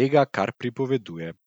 tega, kar pripoveduje.